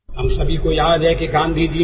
અટલજી